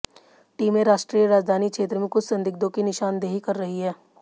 टीमें राष्ट्रीय राजधानी क्षेत्र में कुछ संदिग्धों की निशानदेही कर रही हैं